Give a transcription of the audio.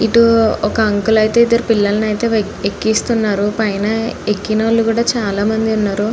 ఇటూ ఒక అంకుల్ అయితే ఇద్దరి పిల్లలలిని అయితే ఎక్కిస్తున్నారు పైన ఎక్కినోళ్ళు కూడా చాలామంది ఉన్నారు.